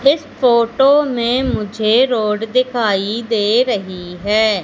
इस फोटो में मुझे रोड दिखाई दे रही है।